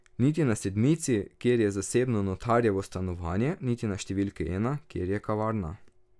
Niti na sedmici, kjer je zasebno notarjevo stanovanje, niti na številki ena, kjer je kavarna.